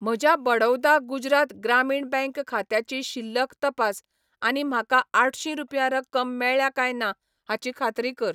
म्हज्या बडौदा गुजरात ग्रामीण बँक खात्याची शिल्लक तपास आनी म्हाका आठशीं रुपया रक्कम मेळ्ळ्या काय ना हाची खात्री कर.